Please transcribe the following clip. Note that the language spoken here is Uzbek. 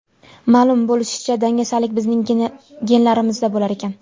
Ma’lum bo‘lishicha, dangasalik bizning genlarimizda bo‘lar ekan.